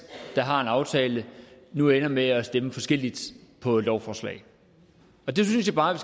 der har en aftale nu ender med at stemme forskelligt på et lovforslag det synes jeg bare